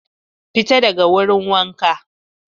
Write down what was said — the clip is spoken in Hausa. Fita daga wurin waha!